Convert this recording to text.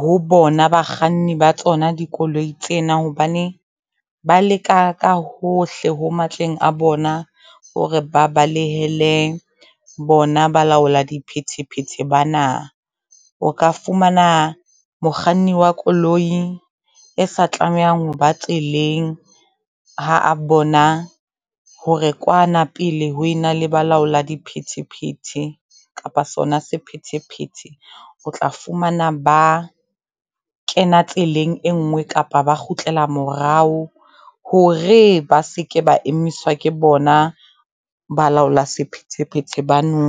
ho bona bakganni ba tsona dikoloi tsena. Hobane ba leka ka hohle ho matleng a bona hore ba balehele bona ba laola di phetephete bana. O ka fumana mokganni wa koloi e sa tlamehang hoba tseleng ha a bona hore kwana pele ho ena le balaola di phetephete kapa sona sephethephethe. O tla fumana ba kena tseleng e ngwe, kapa ba kgutlela morao hore ba seke ba emiswa ke bona balaola sephethephethe bano.